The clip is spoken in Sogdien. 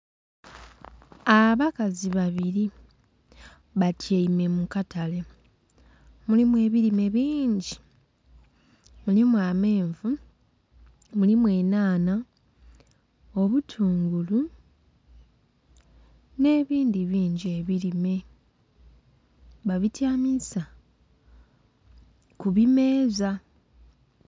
Abakazi babiri batyaime mu katale, mulimu ebirime bingi, mulimu amenvu, mulimu enhanha, obutungulu, nebindhi bingi ebirime, babityamiza ku bimeeza.